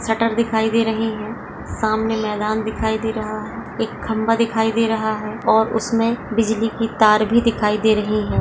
Shutter दिखाई दे रही है सामने मैदान दिखाई दे रहा है एक खंबा दिखाई दे रहा है और उसमे बिजली की तार भी दिखाई दे रही है।